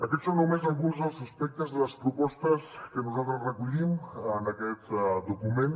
aquests són només alguns dels aspectes de les propostes que nosaltres recollim en aquest document